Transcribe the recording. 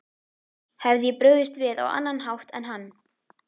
Hefði ég brugðist við á annan hátt en hann?